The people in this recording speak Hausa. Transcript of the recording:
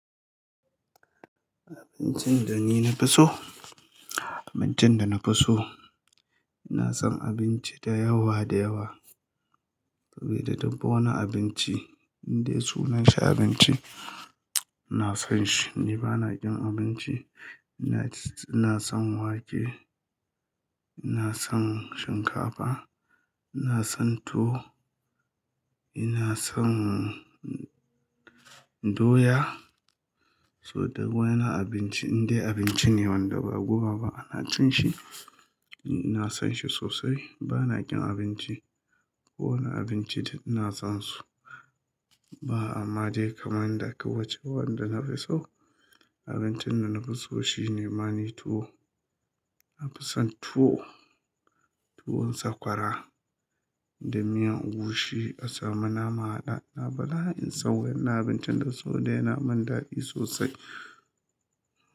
Abincin da ni na fi so? Abincin da na fi so, ina son abinci da yawa da yawa. Sabida duk wani abinci, indai sunan shi abinci, ina son shi. Ni ba na ƙin abinci. Ina, ina son wake, ina son shinkafa, ina son tuwo, ina son doya. So duk wani abinci, indai abinci ne wanda ba guba ba ana cin shi, ni ina son shi sosai. Ba na ƙin abinci. Wani abinci duk ina son su. Ba ama dai kaman inda aka wuce wanda na fi so. Abincin da na fi so shine ma ni tuwo. Na fi son tuwo, tuwon sakwara da miyan egusi a samu nama a haɗa da bala'in son wannan abincin saboda yana mun dadi sosai.